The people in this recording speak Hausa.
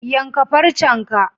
Yanka farcen ka